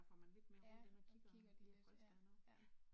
Ja, og kigger lige lidt ja ja